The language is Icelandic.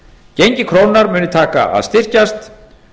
gengi krónunnar muni taka að styrkjast